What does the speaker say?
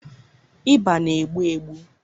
ịba na-egbu egbu